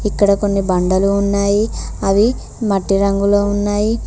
ఇక్కడ కొన్ని బండలు ఉన్నాయి అవి మట్టి రంగులో ఉన్నాయి.